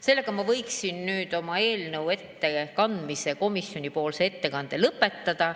Sellega ma võiksin komisjoni ettekande lõpetada.